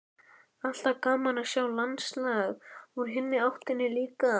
Alltaf gaman að sjá landslag úr hinni áttinni líka.